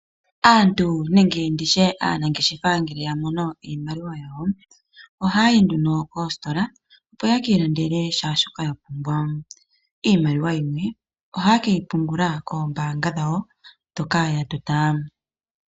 Aantu nenge aanangeshefa ngele yamono iimaliwa yawo oha yayi nduno koositola opo yeki ilandele kehe shoka yapumbwa ,iimaliwa yimwe oha ye keyi pungula koombaanga dhawo ndhoka ya tota.